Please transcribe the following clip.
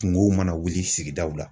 Kungow mana wuli sigidaw la.